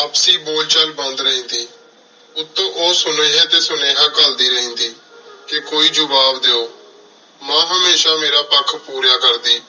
ਆਪਸੀ ਬੋਲ ਚਲ ਬੰਦ ਰਿਹੰਦੀ ਉਤੋ ਓਹ ਸੁਨੇਹਾ ਟੀ ਸੁਨੇਹਾ ਕਾਲੜੀ ਰਿਹੰਦੀ ਕਹ ਕੋਈ ਜਵਾਬ ਦੇਹੋ ਮਾਂ ਹਮੇਸ਼ਾ ਮੇਰਾ ਪਖ ਪੂਰੀਆਂ ਕਰਦੀ